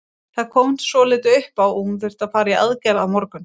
Það kom svolítið upp á og hún þarf að fara í aðgerð á morgun.